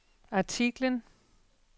artiklen